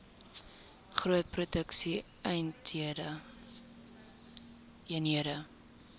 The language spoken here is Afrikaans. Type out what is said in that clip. groot produksie eenhede